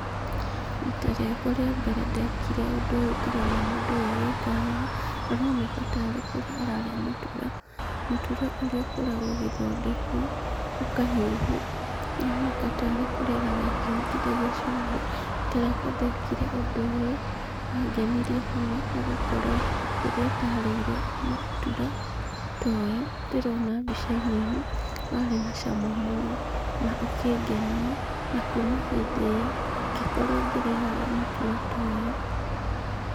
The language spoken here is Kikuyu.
Rita rĩakwa rĩa mbere ndekire ũndũ ũyũ ndĩrona mũndũ ũyũ agĩka haha, aroneka tarĩ kũrĩa ararĩa mũtura, mũtura ũrĩ ũkoragwo ũgĩthondekwo, ũkahĩhio. Aroneka tarĩ kũrĩa ararĩa akĩhutithgia cumbĩ. Rita rĩrĩa ndekire ũndũ ũyũ wangenirie mũno nĩ gũkorwo rĩrĩa ndarĩire mũtura ta ũyũ ndĩrona mbica-inĩ ĩno, warĩ na cama mũno na ũkĩngenia na kuma hĩndĩ ĩo ngĩkorwo ngĩrĩaga mũtura ta ũyũ.